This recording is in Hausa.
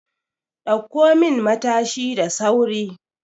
Dauko min Matashi da sauri!